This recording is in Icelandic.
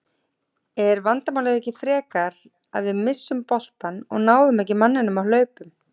Er vandamálið ekki frekar það að við misstum boltann og náðum ekki manninum á hlaupum?